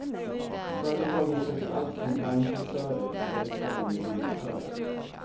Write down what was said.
Företagen söker allt från bankkassörer till verkställande direktörer.